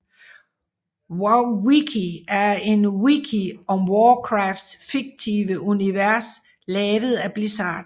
WoWWiki er en wiki om Warcrafts fiktive univers lavet af Blizzard